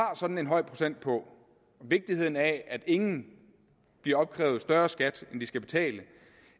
sådan en høj procent på og vigtigheden af at ingen bliver opkrævet større skat end de skal betale